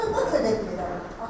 Bunu belə eləyib, dədə.